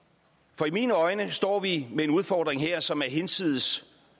for i mine øjne står vi med en udfordring her som er hinsides